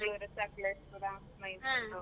Chikmagalur, Sakleshpur, Mysore .